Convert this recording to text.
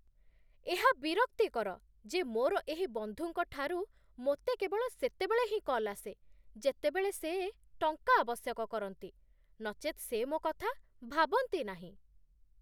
ଏହା ବିରକ୍ତିକର ଯେ ମୋର ଏହି ବନ୍ଧୁଙ୍କ ଠାରୁ ମୋତେ କେବଳ ସେତେବେଳେ ହିଁ କଲ୍ ଆସେ, ଯେତେବେଳେ ସେ ଟଙ୍କା ଆବଶ୍ୟକ କରନ୍ତି, ନଚେତ୍ ସେ ମୋ କଥା ଭାବନ୍ତି ନାହିଁ